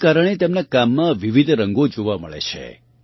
આના કારણે તેમનાં કામમાં વિવિધ રંગો જોવા મળે છે